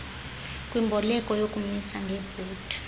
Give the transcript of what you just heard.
kwimboleko yokumisa ngebhondi